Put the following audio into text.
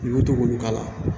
I bɛ to k'olu k'a la